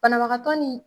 Banabagatɔ ni